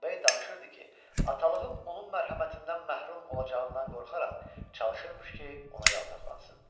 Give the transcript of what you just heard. B danışırdı ki, atalığım onun mərhəmətindən məhrum olacağından qorxaraq, çalışırmış ki, ona yaltaqlansın.